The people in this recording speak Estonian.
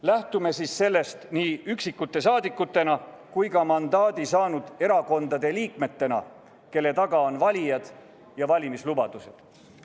Lähtume siis sellest nii üksikute saadikutena kui ka mandaadi saanud erakondade liikmetena, kelle taga on valijad ja valimislubadused.